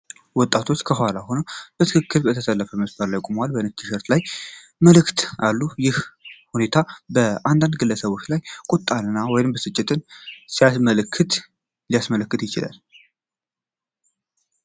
ወጣቶች ከኋላ ሆነው በትክክል በተሰለፈ መስመር ላይ ቆመዋል። ነጭ ቲሸርቶቻቸው ላይ መልዕክቶች አሉ። ይህ ሁኔታ በአንዳንድ ግለሰቦች ላይ ቁጣን ወይንም ብስጭትን ሊያመለክት ይችላል።